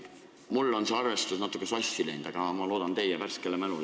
Mul on see arvestus natukene sassi läinud, aga ma loodan teie värskele mälule.